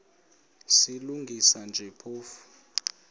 silungisa nje phofu